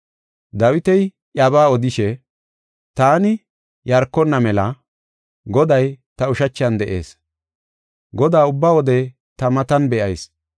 Dawiti iyabaa odishe, “ ‘Taani yarkonna mela, Goday ta ushachan de7ees. Godaa ubba wode ta matan be7ayis.